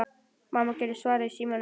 Mamma Gerðar svaraði í símann.